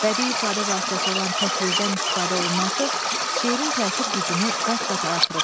Bədii ifadə vasitəsi olan təkrirdən istifadə olunması şeirin təsir gücünü qat-qat artırıb.